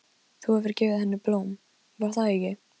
Þú hefur gefið henni blóm, var það ekki?